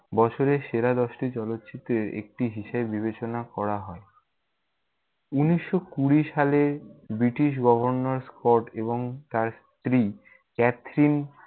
বছরের সেরা দশটি চলচ্চিত্রের একটি হিসেবে বিবেচনা করা হয়। উনিশশো কুঁড়ি সালে, ব্রিটিশ গভর্নর স্কট এবং তার স্ত্রী ক্যাথরিন-